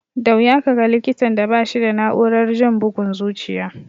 Da wuya ka ga likitan da ba shi da na'urar jin bugun zuciya.